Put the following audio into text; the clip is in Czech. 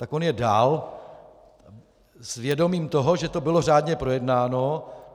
Tak on je dal s vědomím toho, že to bylo řádně projednáno.